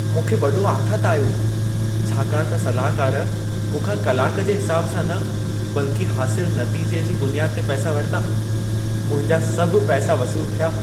मूंखे वॾो आथतु आयो, छाकाणि त सलाहकार मूंखां कलाक जे हिसाब सां न बल्कि हासिल नतीजे जी बुनियाद ते पैसा वरिता। मुंहिंजा सभु पैसा वसूलु थिया।